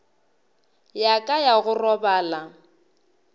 ya ka ya go robala